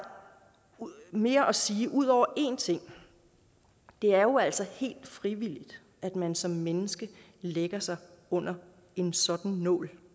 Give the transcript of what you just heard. mere at sige ud over en ting det er jo altså helt frivilligt at man som menneske lægger sig under en sådan nål